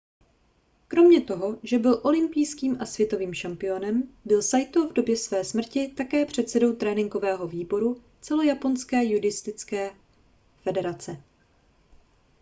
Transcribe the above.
kromě toho že byl olympijským a světovým šampiónem byl saito v době své smrti také předsedou tréninkového výboru celojaponské judistické federace